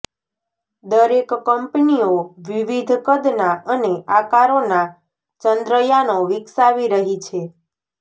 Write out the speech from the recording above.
દરેક કંપનીઓ વિવિધ કદના અને આકારોના ચંદ્ર યાનો વિકસાવી રહી છે